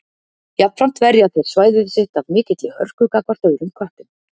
Jafnframt verja þeir svæðið sitt af mikilli hörku gagnvart öðrum köttum.